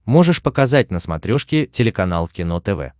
можешь показать на смотрешке телеканал кино тв